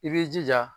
I b'i jija